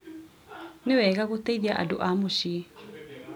Nĩwega gũteithia andũ a mũciĩ